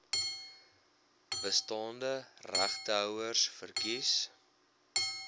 bestaande regtehouers verkies